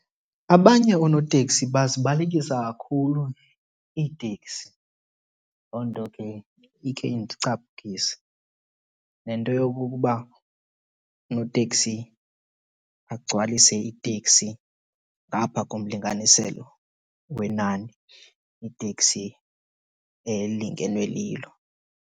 Abanye oonoteksi bazibalekisa kakhulu iiteksi, loo nto ke ikhe indicapukise. Nento yokokuba unoteksi agcwalise iteksi ngapha komlinganiselo wenani iteksi elingenwe lilo.